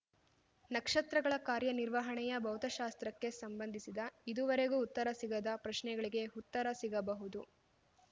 ನಕ್ಷತ್ರಗಳ ಕಾರ್ಯನಿರ್ವಹಣೆಯ ಭೌತಶಾಸ್ತ್ರಕ್ಕೆ ಸಂಬಂಧಿಸಿದ ಇದುವರೆಗೂ ಉತ್ತರ ಸಿಗದ ಪ್ರಶ್ನೆಗಳಿಗೆ ಉತ್ತರ ಸಿಗಬಹುದು